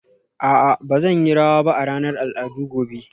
A'a ba zan yi rawa ba a ranar al'adu gobe